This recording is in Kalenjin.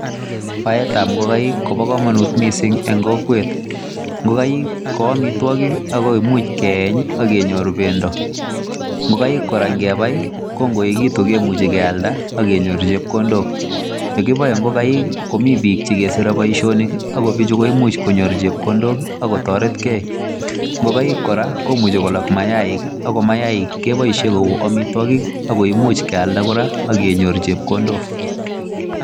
Baetab ingokaik koboo komonut missing en kokwet. Ingokaik ko amitwogiik ako much keeny ak kenyoor bendoo. Ingokaik kora ingebai ko ikoyechekitun kemuche kealdaa ak kenyoorchigei chepkondook. Yekiboe ingokaik komi biik chekesire boishoniik ako bichu koimuch konyoor chepkondook i,akotoretgei. Ngokaik kora komuch kolok mayainik, ak mainikchu keboishien koik amitwogik ak koimuche kildaa kora kenyoor chepkondook.